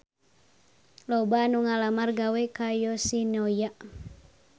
Loba anu ngalamar gawe ka Yoshinoya